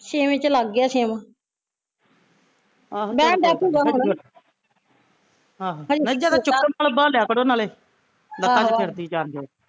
ਛੇਵੇ ਚ ਲੱਗ ਗਿਆ ਛੇਵਾਂ ਬਹਿਣ ਡੇ ਪਉਗਾ ਹੁਣ ਆਹੋ